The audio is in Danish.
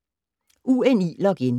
UNI-login